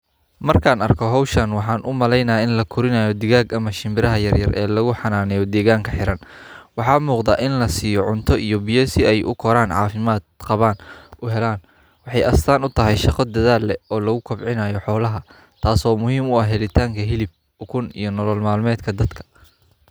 Markaan arko hawshaan, waxaan u malaynaa in la koriyaano digaga ma shimbiraha yaryar ee lagu xanaanaayo deegaanka hiran. Waxaa mugda in la siiyo cunto iyo bIya si ay u koraan caafimaad qabaan u halaan. Waxay aasaan u tahay shaqo dadaal o loogu kobcinayo xoolaha, taasoo muhiim u ah helitaanka hilib, ukun iyo nolol maalmeedka dadka.